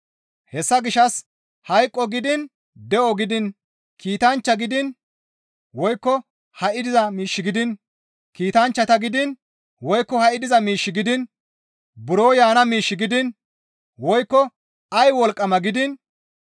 Hessa gishshas hayqo gidiin, de7o gidiin, kiitanchchata gidiin, woykko ha7i diza miish gidiin, buro yaana miish gidiin, woykko ay wolqqama gidiin,